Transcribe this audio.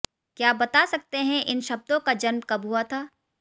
क्या बता सकते हैं इन शब्दों का जन्म कब हुआ था